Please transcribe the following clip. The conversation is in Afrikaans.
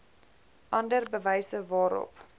ander bewyse waarop